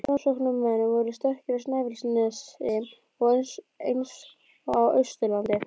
Framsóknarmenn voru sterkir á Snæfellsnesi eins og á Austurlandi.